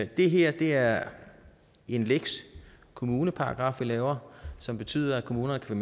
det her er en lex kommuneparagraf vi laver som betyder at kommunerne kan